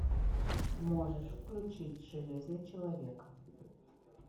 можешь включить железный человек